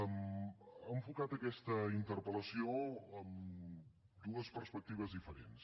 ha enfocat aquesta interpel·lació amb dues perspectives diferents